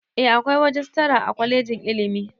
Eh akwai rajistara a kwalejin ilimi